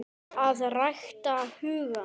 AÐ RÆKTA HUGANN